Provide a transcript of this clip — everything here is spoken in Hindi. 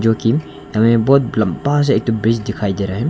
की हमें बहुत लंबा सा एक ठो ब्रिज दिखाई दे रहा है।